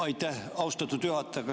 Aitäh, austatud juhataja!